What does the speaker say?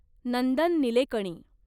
Nandan Nilekani